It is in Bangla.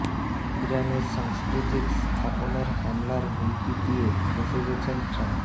ইরানের সাংস্কৃতিক স্থাপনায় হামলার হুমকি দিয়ে ফেঁসে গেছেন ট্রাম্প